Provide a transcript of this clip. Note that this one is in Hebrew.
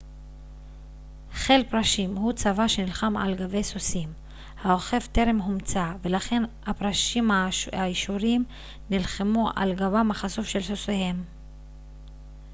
חיל פרשים הוא צבא שנלחם על גבי סוסים האוכף טרם הומצא ולכן הפרשים האשורים נלחמו על גבם החשוף של סוסיהם